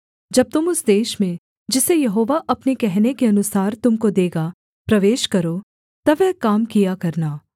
जब तुम उस देश में जिसे यहोवा अपने कहने के अनुसार तुम को देगा प्रवेश करो तब वह काम किया करना